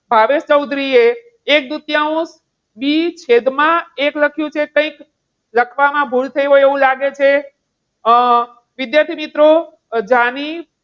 ભાવેશ ચૌધરીએ એક દૂતીયાંશ બી છેદમાં એક લખ્યું છે કંઈક લખવામાં ભૂલ થઈ હોય એવું લાગે છે. અમ વિદ્યાર્થી મિત્રો, જાણી